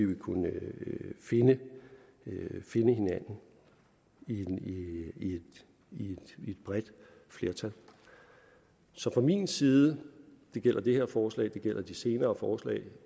vil kunne finde hinanden i et bredt flertal så fra min side det gælder det her forslag det gælder de senere forslag